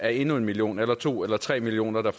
er endnu en million eller to eller tre millioner der